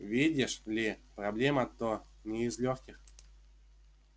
видишь ли проблема-то не из лёгких